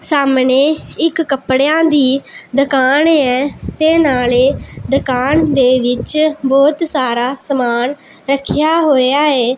ਸਾਹਮਣੇ ਇੱਕ ਕੱਪੜਿਆਂ ਦੀ ਦੁਕਾਨ ਏ ਤੇ ਨਾਲੇ ਦੁਕਾਨ ਦੇ ਵਿੱਚ ਬਹੁਤ ਸਾਰਾ ਸਮਾਨ ਰੱਖਿਆ ਹੋਇਆ ਏ।